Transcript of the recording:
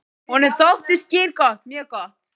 Honum þótti skyr gott, mjög gott.